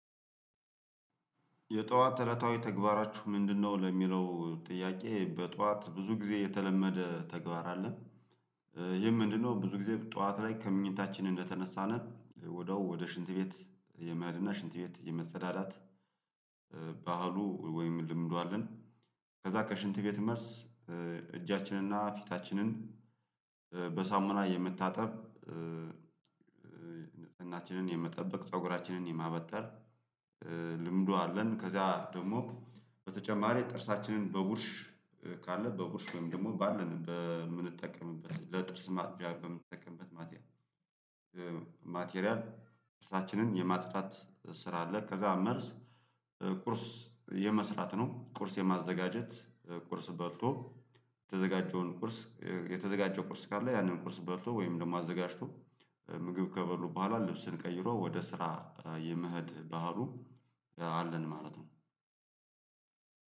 የጧት እለታዊ ተግባራችሁ ምንድነው? ለሚለው ጥያቄ በጧት ብዙ ጊዜ የተለመደ ተግባር አለ። ይህ ምንድነው ብዙ ጊዜ ጠዋት ላይ ከምኝታችን እንደተነሳን ወዲያው ወደ ሽንት ቤት የመሃድና ሽንት ቤት የመሰዳዳት ባህሉ ወይም ልምዱ አለን። ከዛ ከሽንት ቤት መልስ እጃችንንና ፊታችንን በሳሙና የመታጠብ ንጽህናችንን የመጠብቅ ፀጉራችንን የማበጠር ልምዱ አለን። ከዛ ደግሞ በተጨማሪ ጥርሳችንን በቡርሽ ካለ በቡርሽ ወይም ደግሞ ባለን በምንጠቀምበት ለጥርስ ማጽጃ በምንጠቀምበት ማቴሪያል ማቴሪያል ጥርሳችንን የማጽዳት ስራ አለ። ከዛ መልስ ቁርስ የመስራት ነው። ቁርስ የማዘጋጀት ቁርስ በልቶ የተዘጋጀውን ቁርስ የተዘጋጀው ቁርስ ካለ ያንን ቁርስ በልቶ ወይም ደግሞ አዘጋጅቶ ምግብ ከበሉ በኋላ ልብስን ቀይሮ ወደ ስራ የመሄድ ባህሉ አለን ማለት ነው።